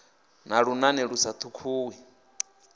na lunane lu sa tumuwi